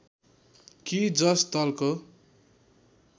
कि जस दलको